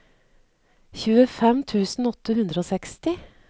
tjuefem tusen åtte hundre og seksti